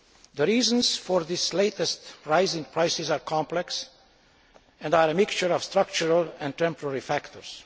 The reasons for this latest rise in prices are complex and are a mixture of structural and temporary factors.